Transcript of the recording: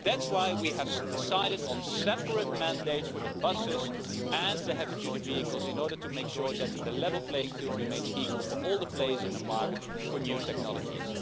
That's why we have decided on separate mandates for buses and heavy-duty vehicles in order to make sure that the level playing field remains equal for all the players in the market for new technologies.